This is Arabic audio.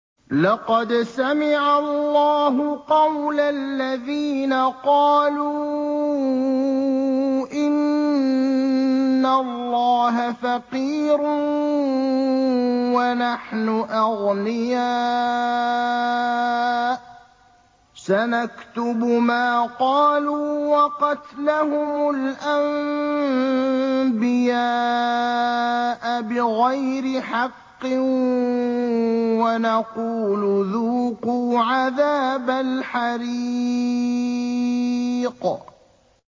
لَّقَدْ سَمِعَ اللَّهُ قَوْلَ الَّذِينَ قَالُوا إِنَّ اللَّهَ فَقِيرٌ وَنَحْنُ أَغْنِيَاءُ ۘ سَنَكْتُبُ مَا قَالُوا وَقَتْلَهُمُ الْأَنبِيَاءَ بِغَيْرِ حَقٍّ وَنَقُولُ ذُوقُوا عَذَابَ الْحَرِيقِ